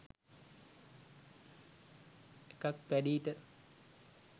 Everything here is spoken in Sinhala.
එකක් පැඞීට